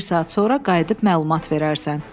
Bir saat sonra qayıdıb məlumat verərsən.